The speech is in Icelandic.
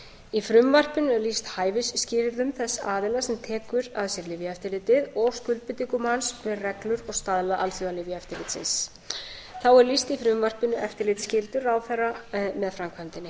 í frumvarpinu er lýst hæfisskilyrðum þess aðila sem tekur að sér lyfjaeftirlitið og skuldbindingum hans við reglur og staðla alþjóðalyfjaeftirlitsins þá er lýst í frumvarpinu eftirlitsskyldu ráðherra með framkvæmdinni